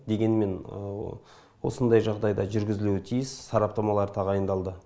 дегенмен осындай жағдайда жүргізілуі тиіс сараптамалар тағайындалды